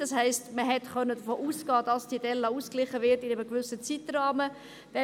Das heisst, man hat davon ausgehen können, dass diese Delle innerhalb eines gewissen Zeitrahmens ausgeglichen wird.